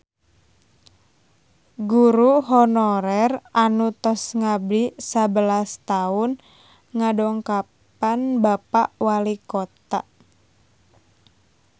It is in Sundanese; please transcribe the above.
Guru honorer anu tos ngabdi sabelas tahun ngadongkapan Bapak Walikota